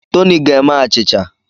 Toni ga-eme achịcha.